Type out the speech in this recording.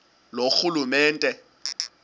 loorhulumente